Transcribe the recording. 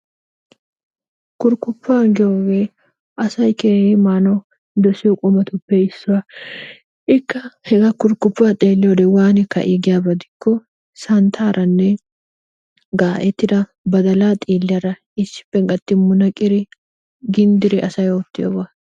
Kurikuppa gige asay manawu kehippe dosiyo qumatuppe issuwa ikka hega kurkuppa xelliyodde wani ka'i giyba gidikko santaranne ga'ettidda badala xiliyara gatridi munaqiddi gindiddi asay ottiyobba.